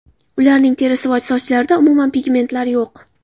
Ularning terisi va sochlarida umuman pigmentlar yo‘q.